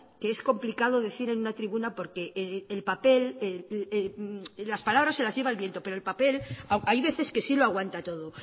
que es complicado decir en una tribuna porque el papel las palabras se las lleva el viento pero el papel hay veces que sí lo aguanta todo